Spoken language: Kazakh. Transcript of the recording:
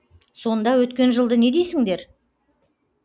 сонда өткен жылды не дейсіңдер